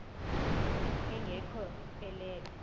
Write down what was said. enge kho elele